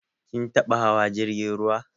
Kin taɓa hawa jirgin ruwa?